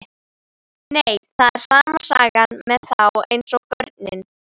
Nei, það er sama sagan með þá eins og börnin.